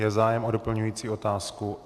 Je zájem o doplňující otázku?